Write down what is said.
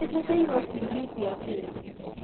Nĩ njĩtĩirwo ciũria cia wĩra